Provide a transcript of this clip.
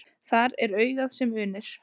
Þar er augað sem unir.